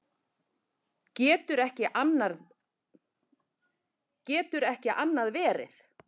Getur ekki annað verið.